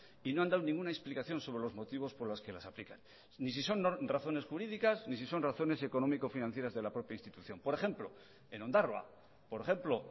y no han dado ninguna explicación sobre los motivos por las que las aplican ni si son razones jurídicas ni si son razones económico financieras de la propia institución por ejemplo en ondarroa por ejemplo